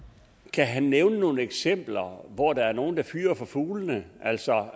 kan han nævne nogen eksempler hvor der er nogle der fyrer for fuglene altså